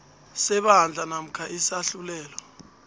sebandla namkha isahlulelo